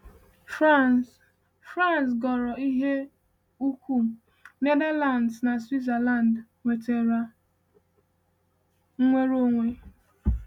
France France ghọrọ ike ukwu, Netherlands na Switzerland nwetara nnwere onwe.